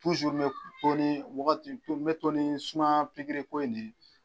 Tuzuri n me to ni wagati to n me to ni sumaya pigiriko in ne ye